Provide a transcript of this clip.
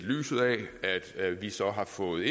lyset af at vi så har fået